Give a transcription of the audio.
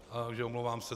Takže omlouvám se.